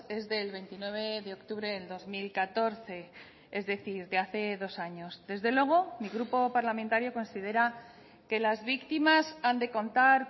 es del veintinueve de octubre del dos mil catorce es decir de hace dos años desde luego mi grupo parlamentario considera que las víctimas han de contar